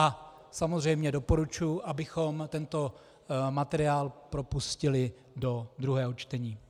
A samozřejmě doporučuji, abychom tento materiál propustili do druhého čtení.